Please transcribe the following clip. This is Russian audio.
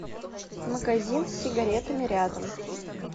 магазин с сигаретами рядом